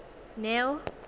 neo